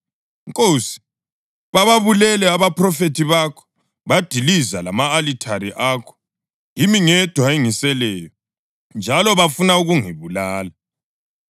“Nkosi, bababulele abaphrofethi bakho, badiliza lama-alithare akho; yimi ngedwa engiseleyo, njalo bafuna ukungibulala?” + 11.3 1 Amakhosi 19.10, 14